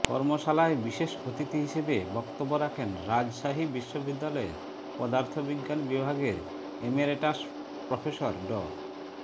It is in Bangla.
কর্মশালায় বিশেষ অতিথি হিসেবে বক্তব্য রাখেন রাজশাহী বিশ্ববিদ্যালয়ের পদার্থ বিজ্ঞান বিভাগের ইমেরিটাস প্রফেসর ড